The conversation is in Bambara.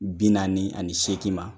Bi naani ani seegin ma